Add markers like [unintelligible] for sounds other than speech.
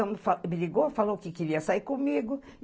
[unintelligible] me ligou, falou que queria sair comigo.